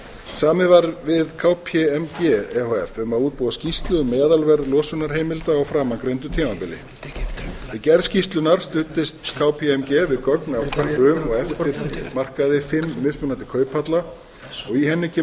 samið var við kpmg um að útbúa skýrslu um meðalverð losunarheimilda á framangreindu tímabili við gerð skýrslunnar studdist kpmg við gögn af eru og eftirmarkaði fimm mismunandi kauphalla í henni kemur